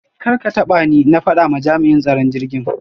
Karkatabani! na fada ma jam'in tsaron jirgin.